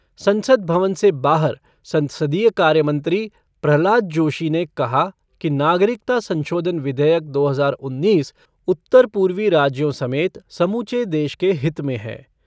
संसद भवन से बाहर संसदीय कार्य मंत्री प्रह्लाद जोशी ने कहा कि नागरिकता संशोधन विधेयक दो हजार उन्नीस उत्तर पूर्वी राज्यों समेत समूचे देश के हित में है।